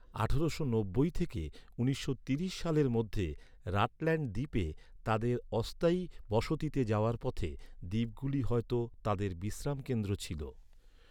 আঠারোশো নব্বই থেকে উনিশশো ত্রিশ সালের মধ্যে রাটল্যান্ড দ্বীপে তাদের অস্থায়ী বসতিতে যাওয়ার পথে দ্বীপগুলি হয়ত তাদের বিশ্রামকেন্দ্র ছিল।